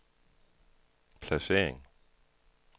placering